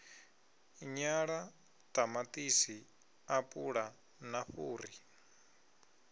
nyala ṱamaṱisi apula na fhuri